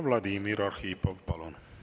Vladimir Arhipov, palun!